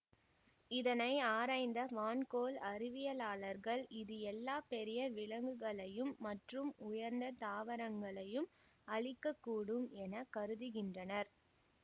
இதனை ஆராய்ந்த வான் கோள் அறிவியலாளர்கள் இது எல்லா பெரிய விலங்குகளையும் மற்றும் உயர்ந்த தாவரங்களையும் அழிக்க கூடும் என கருதுகின்றனர்